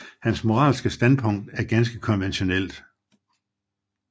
Hans moralske standpunkt er ganske konventionelt